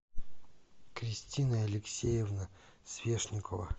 кристина алексеевна свешникова